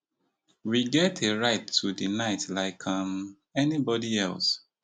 we get a right to di night like um anybody else